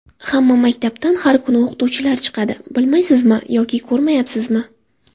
Hamma maktabdan har kuni o‘qituvchilar chiqadi, bilmaysizmi yo ko‘rmayapsizmi?